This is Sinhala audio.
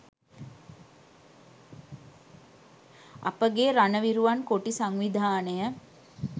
අපගේ රණවිරුවන් කොටි සංවිධානය